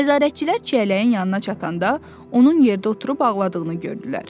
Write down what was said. Nəzarətçilər Çiyələyin yanına çatanda onun yerdə oturub ağladığını gördülər.